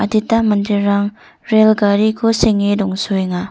adita manderang rel gariko senge dongsoenga.